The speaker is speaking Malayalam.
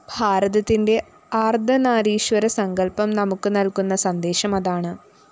ഭാരതത്തിന്റെ അര്‍ദ്ധനാരീശ്വരസങ്കല്‍പ്പം നമുക്കു നല്‍കുന്ന സന്ദേശം അതാണ്